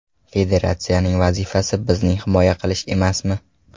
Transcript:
Federatsiyaning vazifasi bizning himoya qilish emasmi?